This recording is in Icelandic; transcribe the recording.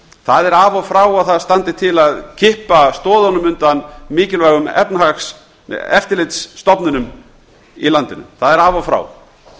það er af og frá að það standi til að kippa stoðunum undan mikilvægum eftirlitsstofnunum í landinu það er af og frá